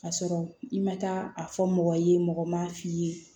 Ka sɔrɔ i ma taa a fɔ mɔgɔ ye mɔgɔ m'a f'i ye